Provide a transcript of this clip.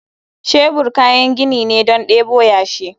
Shebur kayan gini ne don debo yashi.